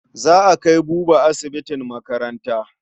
Za a kai Buba asibitin makaranta.